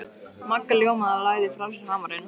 Magga ljómaði og lagði frá sér hamarinn.